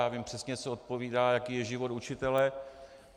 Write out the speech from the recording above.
Já vím přesně, co odpovídá, jaký je život učitele.